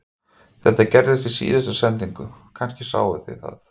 Þetta gerðist í síðustu sendingu, kannski sáuð þið það